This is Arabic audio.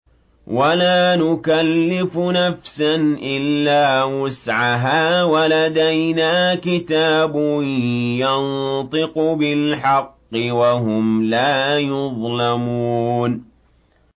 وَلَا نُكَلِّفُ نَفْسًا إِلَّا وُسْعَهَا ۖ وَلَدَيْنَا كِتَابٌ يَنطِقُ بِالْحَقِّ ۚ وَهُمْ لَا يُظْلَمُونَ